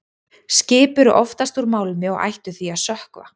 Skip eru oftast úr málmi og ættu því að sökkva.